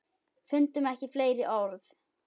Fundum ekki fleiri orð.